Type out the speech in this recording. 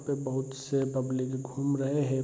पे बहुत से पब्लिक घूम रहे हैं।